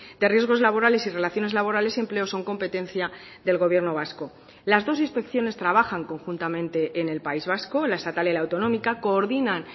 de riesgos laborales y relaciones laborales y empleo son competencia del gobierno vasco las dos inspecciones trabajan conjuntamente en el país vasco la estatal y la autonómica coordinan